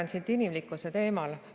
Ma jätkan inimlikkuse teemal.